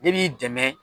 Ne b'i dɛmɛ